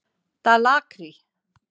Dalakri